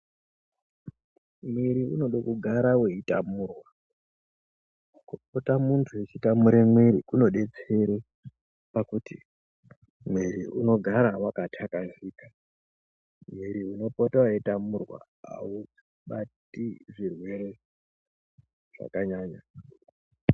Mwiri unode kugara vetamurwa, kupota muntu echitamure mwiri kunobetsere pakuti mwiri unogare vakatakazika, mwiri unopota veitamurwa haubati zvirwere zvakanyanya.